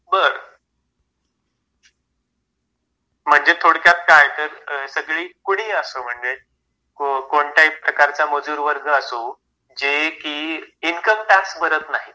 बरं. म्हणजे थोडक्यात काय तर कोणीही असो, म्हणजे कोणत्याही प्रकारचा मजूर वर्ग असो जे कि इन्कम टॅक्स भरत नाहीत.